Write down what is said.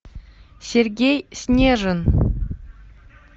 сергей снежин